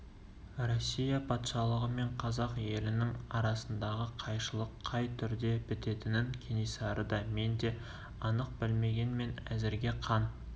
россия патшалығы мен қазақ елінің арасындағы қайшылық қай түрде бітетінін кенесары да мен де анық білмегенмен әзірге қан